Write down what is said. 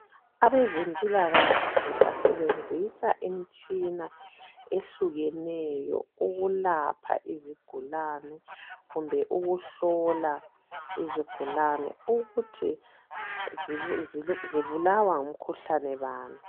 Abazemphilakahle basebenzisa imitshina ehlukeneyo ukulapha izigulane kumbe ukuhlola izigulane ukuthi zibulawa ngumkhuhlane bani .